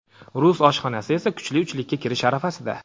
Rus oshxonasi esa kuchli uchlikka kirish arafasida.